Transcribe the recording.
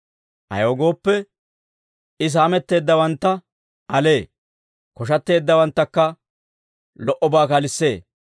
Ayaw gooppe, I saametteeddawantta alee; Koshatteeddawanttakka lo"obaa kalissee.